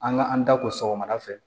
An ka an da ko sɔgɔmada fɛ